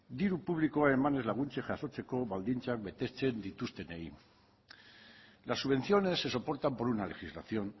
diru publikoa eman laguntzez jasotzeko baldintzak betetzen dituztenei las subvenciones se soportan por una legislación